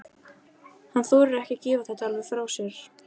Hann þorir ekki að gefa þetta alveg frá sér.